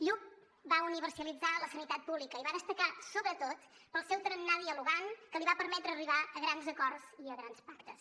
lluch va universalitzar la sanitat pública i va destacar sobretot pel seu tarannà dialogant que li va permetre arribar a grans acords i a grans pactes